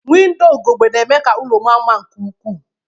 Windoo ugegbe na-eme ka ụlọ maa mma nke ukwuu